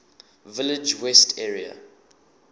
village west area